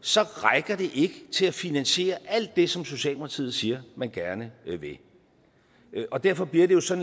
så rækker det ikke til at finansiere alt det som socialdemokratiet siger man gerne vil og derfor bliver det jo sådan